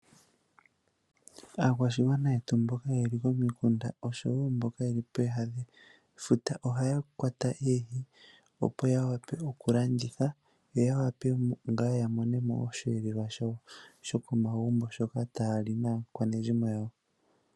Aakwashigwana yetu mboka ye li komikunda osho wo mboka yeli pooha dhefuta, ohaya kwata oohi opo ya vule oku landitha, yo ya wape wo ya mone mo oshiyelelwa shawo shoko magumbo shoka taya li naakwanezimo yawo.